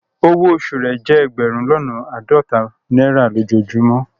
Ọwọ́ osù rẹ jẹ ẹgbérùn lọ́nà aádọ́tà naira lojọ́ọjùmọ